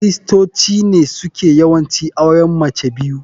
kiristoci ne suke yawanci auren mace biyu.